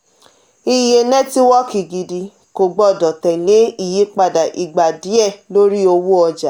iye nẹtiwọọki gidi kò gbọdọ̀ tẹ̀lé iyipada igba diẹ lórí owó ọja.